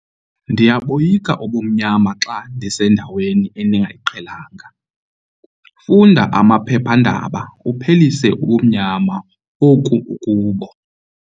Ndiyaboyika ubumnyama xa ndisendaweni endingayiqhelanga. Funda amaphephandaba uphelise ubumnyama oku ukubo